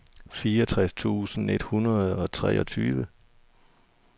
fireogtres tusind et hundrede og treogtyve